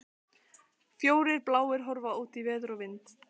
Fjórir bláir horfnir út í veður og vind!